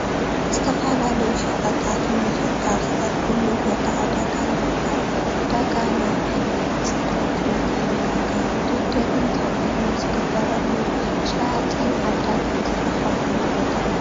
ዝተፈላለዩ ሸቐጣት ንመሸጣ ዝቐርቡሉ ቦታ ዕዳጋ ይበሃል፡፡ ዕዳጋ ናይ ዓይነት፣ ፅሬት፣ መጠን፣ ዋጋ ውድድርን ተመንን ዝግበረሉ ሸያጥን ዓዳግን ዝራኸብሉ ቦታ እዩ፡፡